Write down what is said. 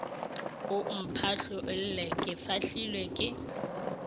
o mphahlolle ke fahlilwe ke